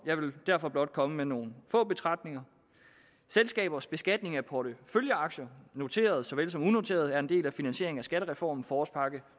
jeg vil derfor blot komme med nogle få betragtninger selskabers beskatning af porteføljeaktier noterede såvel som unoterede er en del af finansieringen af skattereformen forårspakke